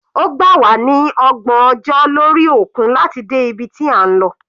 Ó gbà wá ní ọgbọ̀n ọjọ́ lórí òkun láti dé ibi tí a ń lọ.